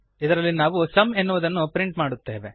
ಇದರಲ್ಲಿ ನಾವು ಸುಮ್ ಎನ್ನುವುದನ್ನು ಪ್ರಿಂಟ್ ಮಾಡುತ್ತೇವೆ